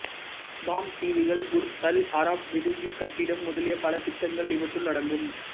bomb தீவுகள் Burj Al Arab விடுதிக் கட்டிடம் முதலிய பல திட்டங்கள் இவற்றுள் அடங்கும்